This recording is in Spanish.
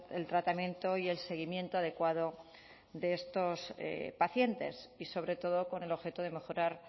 el tratamiento y el seguimiento adecuado de estos pacientes y sobre todo con el objeto de mejorar